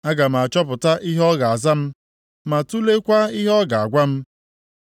Aga m achọpụta ihe o ga-aza m ma tuleekwa ihe ọ ga-agwa m.